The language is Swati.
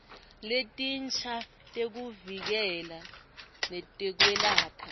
letinsha tekuvikela nekwelapha